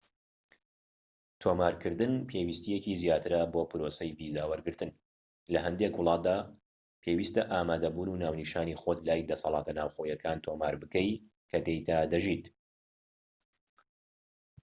تۆمارکردن پێویستیەکی زیاترە بۆ پرۆسەی ڤیزا وەرگرتن لە هەندێک وڵاتدا پێویستە ئامادەبوون و ناونیشانی خۆت لای دەسەلاتە ناوخۆییەكان تۆمار بکەیت کە تێیدا دەژیت